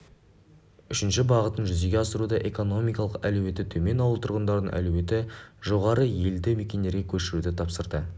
үшінші бағытын жүзеге асыруда экономикалық әлеуеті төмен ауыл тұрғындарын әлеуеті жоғары елді мекендерге көшіруді тапсырды